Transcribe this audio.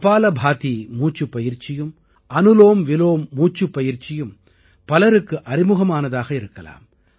கபாலபாதி மூச்சுப் பயிற்சியும் அனுலோம்விலோம் மூச்சுப்பயிற்சியும் பலருக்கு அறிமுகமானதாக இருக்கலாம்